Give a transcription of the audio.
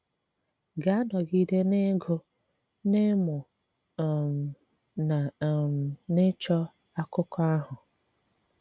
Gà-anọgide n’ịgụ̀, n’ịmụ̀ um na um n’ịchọ̀ n’akụkọ̀ ahụ.